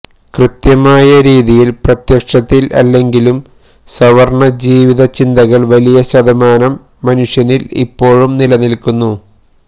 കൃത്യമായ രീതിയിൽ പ്രത്യക്ഷത്തിൽ അല്ലെങ്കിലും സവർണ ജീവിതചിന്തകൾ വലിയ ശതമാനം മനുഷ്യരിൽ ഇപ്പോഴും നിലനിൽക്കുന്നു